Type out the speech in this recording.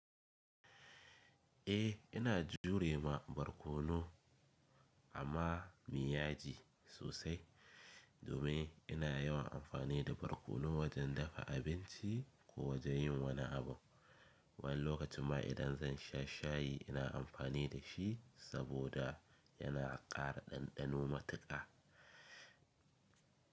Eh ina jure ma barkono amma miyaji sosai domin ina yawan amfani da barkono wajen dafa abinci ko wajen yin wani abu. Wani lokacin ma idan zan sha shayi ina amfani da shi saboda yana ƙara ɗanɗano matuƙa.